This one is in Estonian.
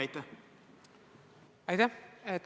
Aitäh!